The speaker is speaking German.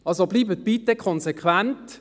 Also, bleiben Sie bitte konsequent!